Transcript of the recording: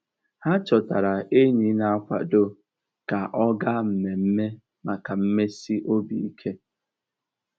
Há chọtárá ényí nà-àkwádó kà ọ́ gáá mmèmme màkà mmèsì óbì íké.